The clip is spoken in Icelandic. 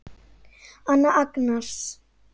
Anna Agnars.